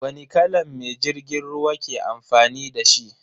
Wani kalan mai jirgin ruwa ke amfani dashi?